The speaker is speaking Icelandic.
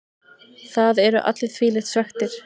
Það eru allir þvílíkt svekktir.